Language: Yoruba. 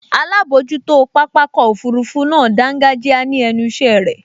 Alábojútó pápákọ̀ òfurufú náà dángájíá ní ẹnu ìṣẹ́ irẹ̀